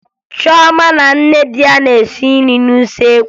Choma na nne di ya na-esi nri n'usekwu